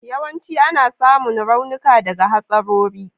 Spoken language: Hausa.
Yawanci ana samun raunuka daga hatsarori.